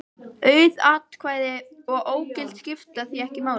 Auð atkvæði og ógild skipta því ekki máli.